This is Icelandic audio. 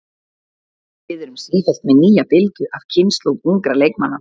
Við erum sífellt með nýja bylgju af kynslóð ungra leikmanna.